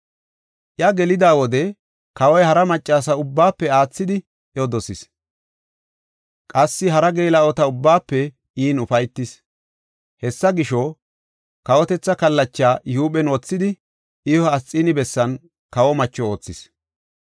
Iya Gelida wode, kawoy hara maccasa ubbaafe aathidi, iyo dosis; qassi hara geela7ota ubbaafe in ufaytis. Hessa gisho, kawotetha kallachaa I huuphen wothidi, iyo Asxiini bessan kawo macho oothis.